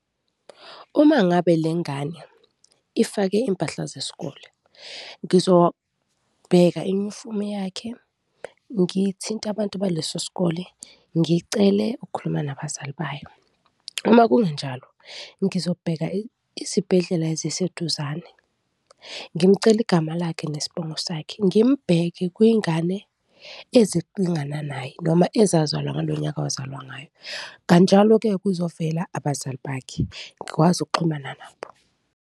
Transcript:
Uma ngabe le ngane ifake impahla zesikole, ngizobheka imifume yakhe, ngithinte abantu baleso sikole, ngicele ukukhuluma nabazali bayo. Uma kungenjalo, ngizobheka isibhedlela eziseduzane, ngimcele igama lakhe nesbongo sakhe, ngimbheke kwizingane ezilingana naye noma ezazalwa ngalo nyaka wazalwa ngaye. Kanjalo-ke kuzovela abazali bakhe, ngikwazi ukuxhumana nabo.